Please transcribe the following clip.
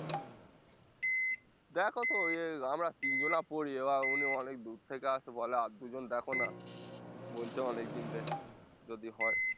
দ্যাখো তো ওই আমরা তিনজনা পড়ি এবার উনি অনেক দূর থেকে আসে বলে আর দুজন দ্যাখো না বলছে অনেকদিন থেকে যদি হয়